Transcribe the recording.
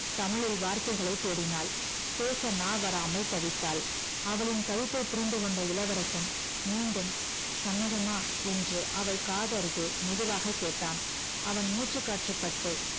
தமிழில் வார்த்தைகளை தேடினாள் பேச நா வராமல் தவித்தாள் அவளின் தவிப்பை புரிந்து கொண்ட இளவரசன் மீண்டும் சம்மதமா என்று அவள் காதருகே மெதுவாக கேட்டான் அவன் மூச்சுக்காற்று பட்டு